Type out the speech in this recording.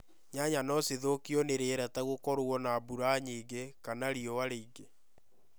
Nyanya no cithokio ni rĩera ta gũkorwo na mbura nyingĩ kana riuwa rĩingĩ